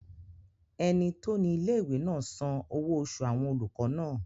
Ẹni tó ní ilé-ìwé náà san owó oṣù àwọn olùkọ́ náà